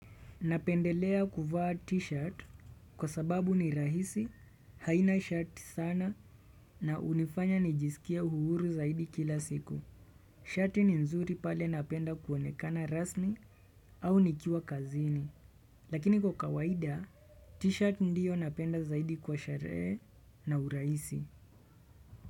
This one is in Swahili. Napendelea kuvaa t-shirt kwa sababu ni rahisi, haina shati sana na hunifanya nijisikie uhuru zaidi kila siku. Shati ni nzuri pale napenda kuonekana rasmi au nikiwa kazini. Lakini kwa kawaida, t-shirt ndiyo napenda zaidi kwa sherehe na urahisi.